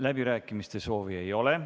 Läbirääkimiste soovi ei ole.